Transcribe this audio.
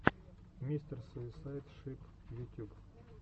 мистер суисайд шип ютюб